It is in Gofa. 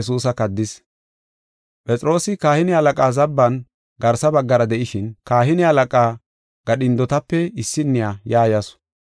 Phexroosi kahine halaqaa zabban garsa baggara de7ishin, kahine halaqa gadhindotape issiniya ya yasu.